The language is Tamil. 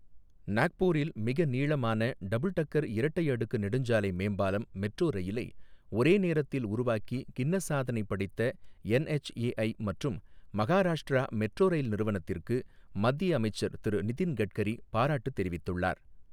நாக்பூரில் மிகநீளமான டபுள்டக்கர் இரட்டை அடுக்கு நெடுஞ்சாலை மேம்பாலம் மெட்ரோ ரயிலை ஒரே நேரத்தில் உருவாக்கி கின்னஸ் சாதனை படைத்த என்எச்ஏஐ மற்றும் மகாராஷ்டிரா மெட்ரோ ரயில் நிறுவனத்திற்கு மத்திய அமைச்சர் திரு நிதின்கட்கரி பாராட்டு தெரிவித்துள்ளார்.